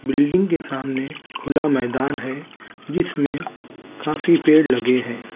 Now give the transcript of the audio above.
Building के सामने खुला मैदान है जिस में काफी पेड़ लगे है।